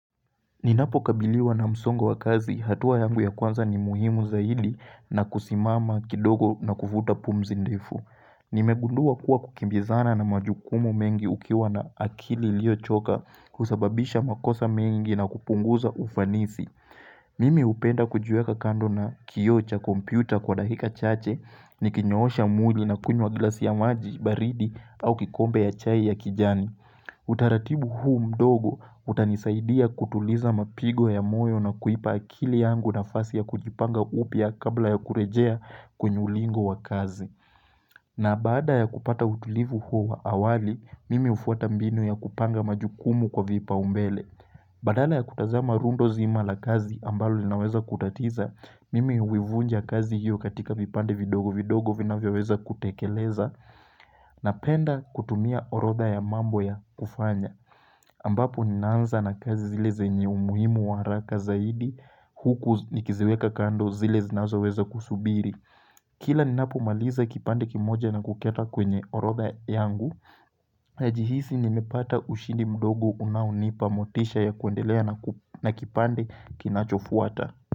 Ninapo kabiliwa na msongo wakazi, hatua yangu ya kwanza ni muhimu zaidi na kusimama kidogo na kuvuta pumzi ndefu. Nimegundua kuwa kukimbizana na majukumu mengi ukiwa na akili iliyo choka husababisha makosa mengi na kupunguza ufanisi. Mimi hupenda kujiweka kando na kioo cha kompyuta kwa dakika chache, nikinyoosha mwili na kunywa glasi ya maji baridi au kikombe ya chai ya kijani. Utaratibu huu mdogo utanisaidia kutuliza mapigo ya moyo na kuipa akili yangu nafasi ya kujipanga upya kabla ya kurejea kwenye ulingo wa kazi. Na baada ya kupata utulivu huu wa awali, mimi hufuata mbinu ya kupanga majukumu kwa vipaumbele. Badala ya kutazama rundo zima la kazi ambalo linaweza kutatiza, mimi huivunja kazi hiyo katika vipande vidogo vidogo vinavyoweza kutekeleza napenda kutumia orodha ya mambo ya kufanya. Ambapo ninaanza na kazi zile zenye umuhimu wa haraka zaidi huku nikiziweka kando zile zinazoweza kusubiri. Kila ninapo maliza kipande kimoja na kukiweka kwenye orodha yangu. Najihisi nimepata ushindi mdogo unaonipa motisha ya kuendelea na kipande kinachofuata.